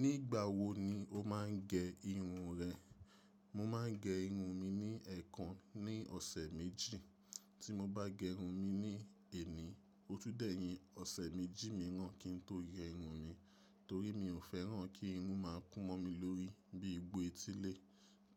Nígbà wo ni o má n gẹ irun rẹ? Mo ma n gẹ irun mi ni ẹ̀ẹ̀kan ní ọ̀sẹ̀ méjì. Tí mo ba gẹ irun mi ni eni, ó tún dẹ́yìn ọ̀sẹ̀ méjì míràn kí n tó yẹ irun mi. Torí mi ò fẹ́ràn kí irun má a kún mọ́ mi lórí bí ibú etílé.